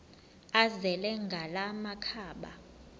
azele ngala makhaba